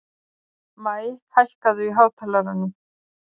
Maj, hækkaðu í hátalaranum.